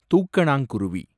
தூக்கணாங்குருவி